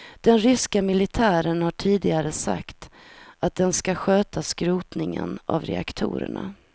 Den ryska militären har tidigare sagt att den ska sköta skrotningen av reaktorerna.